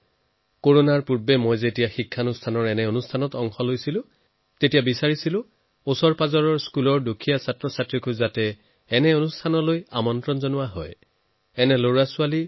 corona মহামাৰীৰ পূৰ্বে যেতিয়া মই সোশৰীৰে কোনো প্ৰতিষ্ঠানৰ অনুষ্ঠানলৈ গৈছিলো তেতিয়া মই অনুৰোধো কৰিছিলো যে সমীপৰ স্কুলৰ দুখীয়া ছাত্ৰছাত্ৰীসকলকো তালৈ আমন্ত্ৰণ জনোৱা হওক